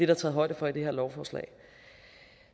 der taget højde for i det her lovforslag